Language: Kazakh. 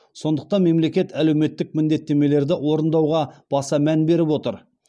сондықтан мемлекет әлеуметтік міндеттемелерді орындауға баса мән беріп отыр